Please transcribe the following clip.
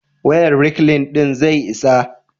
wayan reklin din zai isa?